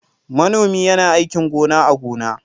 Manomi yana aikin gona a gona.